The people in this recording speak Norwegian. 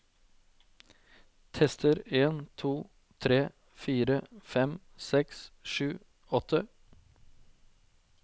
Tester en to tre fire fem seks sju åtte